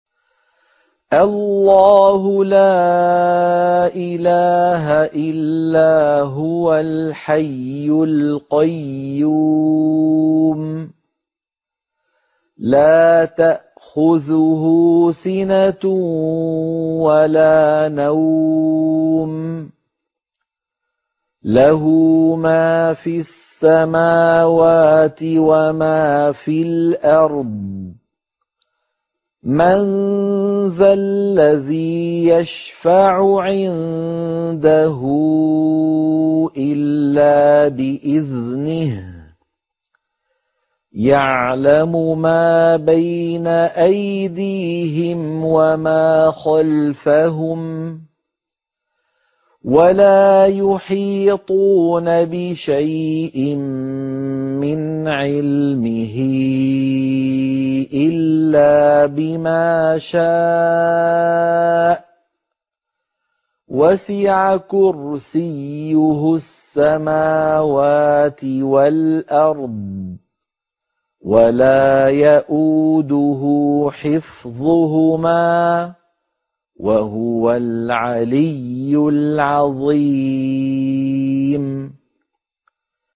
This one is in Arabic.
اللَّهُ لَا إِلَٰهَ إِلَّا هُوَ الْحَيُّ الْقَيُّومُ ۚ لَا تَأْخُذُهُ سِنَةٌ وَلَا نَوْمٌ ۚ لَّهُ مَا فِي السَّمَاوَاتِ وَمَا فِي الْأَرْضِ ۗ مَن ذَا الَّذِي يَشْفَعُ عِندَهُ إِلَّا بِإِذْنِهِ ۚ يَعْلَمُ مَا بَيْنَ أَيْدِيهِمْ وَمَا خَلْفَهُمْ ۖ وَلَا يُحِيطُونَ بِشَيْءٍ مِّنْ عِلْمِهِ إِلَّا بِمَا شَاءَ ۚ وَسِعَ كُرْسِيُّهُ السَّمَاوَاتِ وَالْأَرْضَ ۖ وَلَا يَئُودُهُ حِفْظُهُمَا ۚ وَهُوَ الْعَلِيُّ الْعَظِيمُ